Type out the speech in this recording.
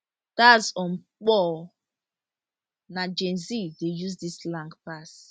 dats on purr na gen z dey use dis slang pass